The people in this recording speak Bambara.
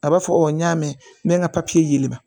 A b'a fɔ n y'a mɛn n bɛ n ka papiye ma